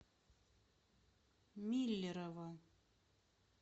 миллерово